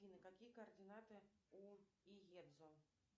афина какие координаты у иедзо